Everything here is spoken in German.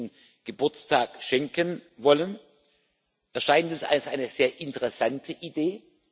18. Geburtstag schenken wollen, erscheint uns als eine sehr interessante Idee.